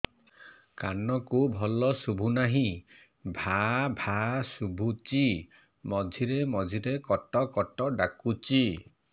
କାନକୁ ଭଲ ଶୁଭୁ ନାହିଁ ଭାଆ ଭାଆ ଶୁଭୁଚି ମଝିରେ ମଝିରେ କଟ କଟ ଡାକୁଚି